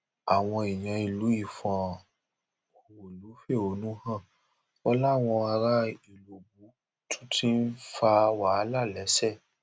àwọn èèyàn ìlú ìfọn ọrọlù fẹhónú hàn wọn làwọn ará ìlọbù tún ti ń ti ń fa wàhálà lẹsẹ